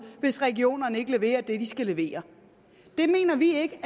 hvis regionerne ikke leverer det de skal levere det mener vi ikke